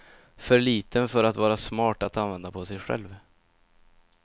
För liten för att vara smart att använda på sig själv.